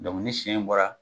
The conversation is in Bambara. ni siyɛn in bɔra